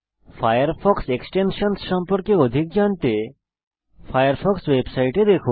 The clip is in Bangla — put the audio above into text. ফায়ারফক্স এক্সটেনশনসহ সম্পর্কে আরো জানতে ফায়ারফক্স ওয়েবসাইটে দেখুন